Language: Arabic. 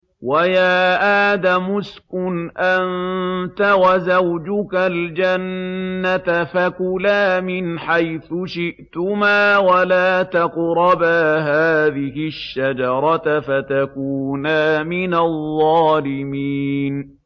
وَيَا آدَمُ اسْكُنْ أَنتَ وَزَوْجُكَ الْجَنَّةَ فَكُلَا مِنْ حَيْثُ شِئْتُمَا وَلَا تَقْرَبَا هَٰذِهِ الشَّجَرَةَ فَتَكُونَا مِنَ الظَّالِمِينَ